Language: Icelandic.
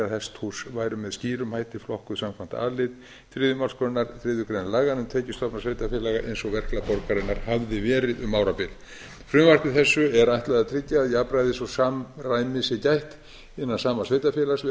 hesthús væru með skýrum hætti flokkuð samkvæmt a lið þriðju málsgrein þriðju grein laga um tekjustofna sveitarfélaga eins og verklag borgarinnar hafði verið um árabil frumvarpi þessu er ætlað að tryggja að jafnræðis og samræmis sé gætt innan sama sveitarfélags við